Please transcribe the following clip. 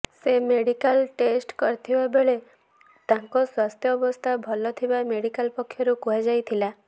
ସେ medical test କରିଥିବା ବେଳେ ତାଙ୍କ ସ୍ୱାସ୍ଥ୍ୟାବସ୍ଥା ଭଲ ଥିବା ମେଡିକାଲ ପକ୍ଷରୁ କୁହାଯାଇଥିଲା